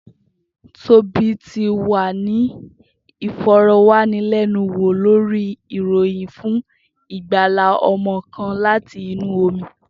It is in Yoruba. Tobi ti wa ni ifọrọwanilẹnuwo lori iroyin fun igbala ọmọ kan lati inu omi.